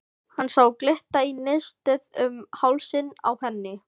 Hann sá glitta í nistið um hálsinn á henni.